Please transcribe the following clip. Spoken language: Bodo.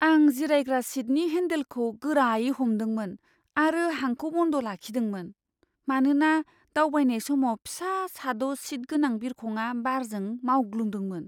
आं जिरायग्रा सिटनि हेन्डेलखौ गोरायै हमदोंमोन आरो हांखौ बन्द लाखिदोंमोन, मानोना दावबायनाय समाव फिसा साद' सिट गोनां बिरखंआ बारजों मावग्लुंदोंमोन।